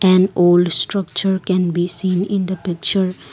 and old structure can be seen in the picture.